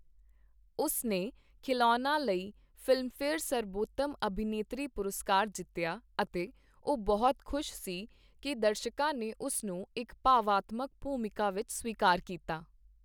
ਉਸ ਨੇ 'ਖਿਲੋਨਾ' ਲਈ ਫ਼ਿਲਮਫੇਅਰ ਸਰਬੋਤਮ ਅਭਿਨੇਤਰੀ ਪੁਰਸਕਾਰ ਜਿੱਤਿਆ ਅਤੇ ਉਹ ਬਹੁਤ ਖ਼ੁਸ਼ ਸੀ ਕਿ ਦਰਸ਼ਕਾਂ ਨੇ ਉਸ ਨੂੰ ਇੱਕ ਭਾਵਨਾਤਮਕ ਭੂਮਿਕਾ ਵਿੱਚ ਸਵੀਕਾਰ ਕੀਤਾ।